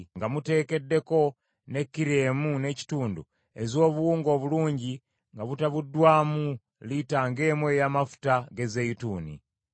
nga muteekeddeko ne kilo emu n’ekitundu ez’obuwunga obulungi nga butabuddwamu lita ng’emu ey’amafuta ge zeyituuni.